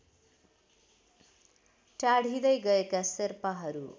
टाढिँदै गएका शेर्पाहरू